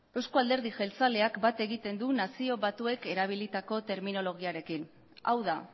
euzko alderdi jeltzaleak bat egiten du nazio batuek erabilitako terminologiarekin hau da